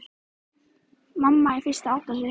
Mamma er fyrst að átta sig